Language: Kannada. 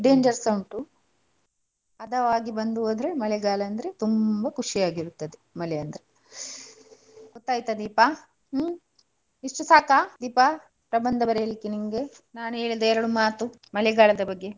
Danger ಸಾ ಉಂಟು ಹದವಾಗಿ ಬಂದು ಹೋದ್ರೆ ಮಳೆಗಾಲ ಅಂದ್ರೆ ತುಂಬಾ ಖುಷಿಯಾಗಿ ಇರುತ್ತದೆ ಮಳೆ ಅಂದ್ರೆ. ಗೊತ್ತಾಯ್ತಾ ದೀಪ? ಹ್ಮ್ ಇಷ್ಟು ಸಾಕಾ ದೀಪಾ ಪ್ರಬಂಧ ಬರೆಯಲಿಕ್ಕೆ ನಿಂಗೆ ನಾನು ಹೇಳಿದ ಎರಡು ಮಾತು ಮಳೆಗಾಲದ ಬಗ್ಗೆ?